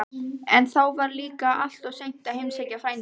En þá var líka alltof seint að heimsækja frændann.